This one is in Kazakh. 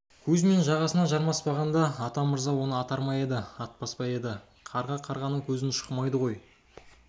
кузьмин жағасына жармаспағанда атамырза оны атар ма еді атпас па еді қарға қарғаның көзін шұқымайды ғой